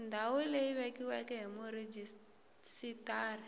ndhawu leyi vekiweke hi murhijisitara